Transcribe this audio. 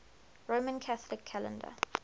roman catholic calendar